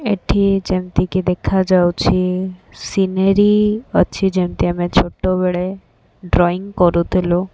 ଏଠି ଯେମିତି କି ଦେଖା ଯାଉଛି ସିନେରି ଅଛି ଯେମିତି ଆମେ ଛୋଟ ବେଳେ ଡ୍ରଇଂ କରୁଥିଲୁ।